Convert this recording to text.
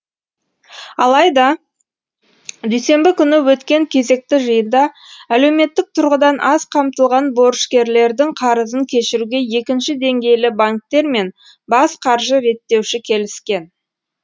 алайда дүйсенбі күні өткен кезекті жиында әлеуметтік тұрғыдан аз қамтылған борышкерлердің қарызын кешіруге екінші деңгейлі банктер мен бас қаржы реттеуші келіскен